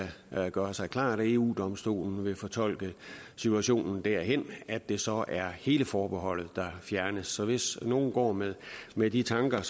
gøre sig klart at eu domstolen vil fortolke situationen derhen at det så er hele forbeholdet der fjernes så hvis nogle går med med de tanker